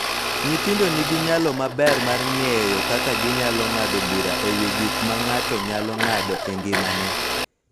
Nyithindo nigi nyalo maber mar ng�eyo kaka ginyalo ng�ado bura e wi gik ma ng�ato nyalo ng�ado e ngimane